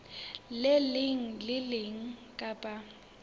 leng le le leng kapa